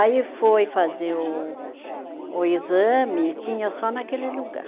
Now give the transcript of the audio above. Aí foi fazer o o exame e tinha só naquele lugar.